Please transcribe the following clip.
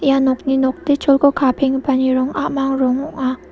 ia nokni nokdecholko kapenggipani rong a·mang rong ong·a.